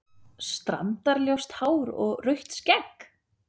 Strandar-ljóst hár og rautt skegg?